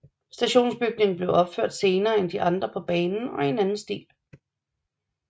Stationsbygningen blev opført senere end de andre på banen og i en anden stil